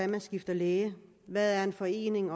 man skifter læge hvad en forening